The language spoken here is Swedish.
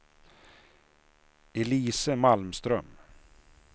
Elise Malmström